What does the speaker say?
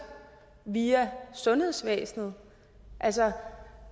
via sundhedsvæsenet altså